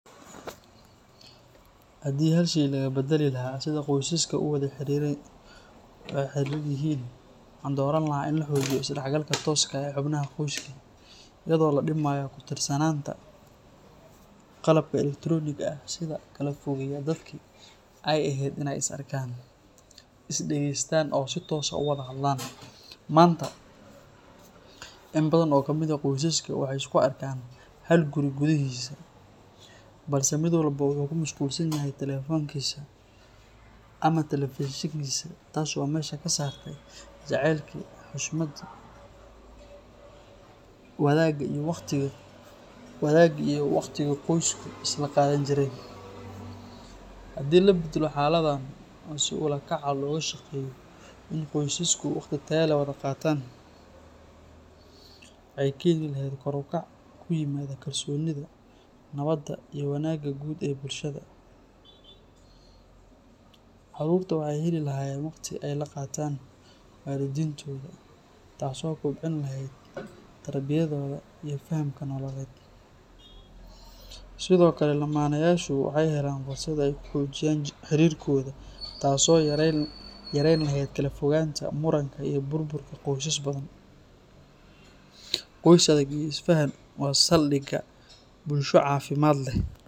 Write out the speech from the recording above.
Haddii hal shay laga beddeli lahaa sida qoysaska u wada xiriran yihiin, waxaan dooran lahaa in la xoojiyo isdhexgalka tooska ah ee xubnaha qoyska, iyadoo la dhimayo ku tiirsanaanta qalabka elektaroonigga ah ee kala fogeeya dadkii ay ahayd inay is arkaan, is dhageystaan oo si toos ah u wada hadlaan. Maanta, in badan oo kamid ah qoysaska waxay isku arkaan hal guri gudihiisa balse mid walba wuxuu ku mashquulsan yahay taleefankiisa ama telefishinkiisa, taas oo meesha ka saartay jacaylkii, xushmaddii, wadaagga iyo waqtigii qoysku isla qaadan jireen. Haddii la beddelo xaaladdan oo si ula kac ah looga shaqeeyo in qoysasku waqti tayo leh wada qaataan, waxay keeni lahayd kor u kac ku yimaada kalsoonida, nabadda iyo wanaagga guud ee bulshada. Caruurta waxay heli lahaayeen waqti ay la qaataan waalidiintooda, taas oo kobcin lahayd tarbiyadooda iyo fahamka nololeed. Sidoo kale, lamaanayaashu waxay helayaan fursad ay ku xoojiyaan xiriirkooda, taas oo yareyn lahayd kala fogaanta, muranka iyo burburka qoysas badan. Qoys adag oo isfahansan waa saldhigga bulsho caafimaad leh.